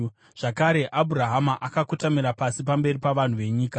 Zvakare Abhurahama akakotamira pasi pamberi pavanhu venyika